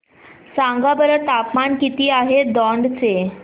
सांगा बरं तापमान किती आहे दौंड चे